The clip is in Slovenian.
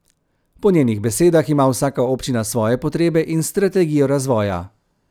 Po njenih besedah ima vsaka občina svoje potrebe in strategijo razvoja.